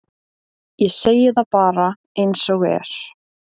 ég segi það bara eins og er